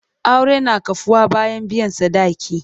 Aure na kafuwa bayan biyan sadaki.